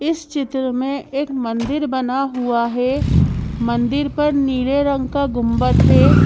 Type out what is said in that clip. इस चित्र में एक मंदिर बना हुआ है मंदिर पर नीले रंग का गुंबद है।